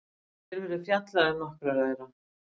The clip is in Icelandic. Hér verður fjallað um nokkra þeirra.